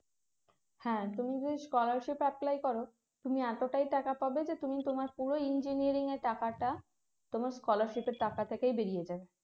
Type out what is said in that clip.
হ্যাঁ তুমি যদি scholarship apply করো তুমি এতটাই টাকা পাবে যে তুমি তোমার পুরো engineering এর টাকাটা তোমার scholarship এর টাকা থেকেই বেরিয়ে যাবে